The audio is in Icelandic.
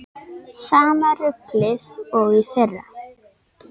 Sama ruglið og í fyrra?